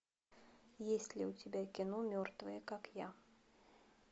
есть ли у тебя кино мертвая как я